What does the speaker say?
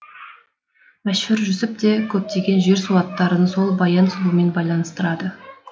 мәшһүр жүсіп те көптеген жер су аттарын сол баян сұлумен байланыстырады